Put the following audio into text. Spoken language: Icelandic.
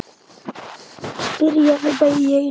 spyrja þau bæði í einu.